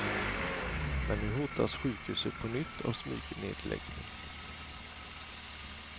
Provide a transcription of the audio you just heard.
Men nu hotas sjukhuset på nytt av smygnedläggning.